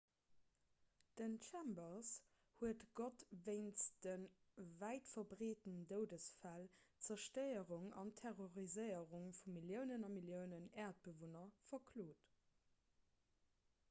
den chambers huet gott wéinst de wäitverbreeten doudesfäll d'zerstéierung an terroriséierung vu milliounen a milliounen äerdebewunner verklot